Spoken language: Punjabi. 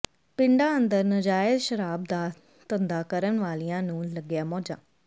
ਪਿੰਡਾਂ ਅੰਦਰ ਨਾਜਾਇਜ਼ ਸ਼ਰਾਬ ਦਾ ਧੰਦਾ ਕਰਨ ਵਾਲਿਆਂ ਨੂੰ ਲੱਗੀਆਂ ਮੌਜਾਂ